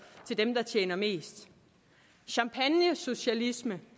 til dem der tjener mest champagnesocialisme